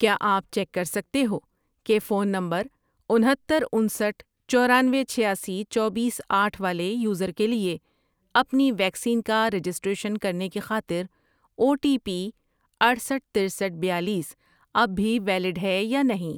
کیا آپ چیک کر سکتے ہو کہ فون نمبر انہتر، انسٹھ ،چورانوے، چھیاسی، چوبیس، آٹھ ، والے یوزر کے لیے اپنی ویکسین کا رجسٹریشن کرنے کی خاطر او ٹی پی اٹھصٹھ ،ترستھ ،بیالیس، اب بھی ویلڈ ہے یا نہیں؟